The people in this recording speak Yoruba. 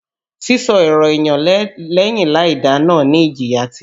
Sísọ̀rọ̀ èyàn lẹ́yìn láìda náà ní ìjìyà tirẹ̀.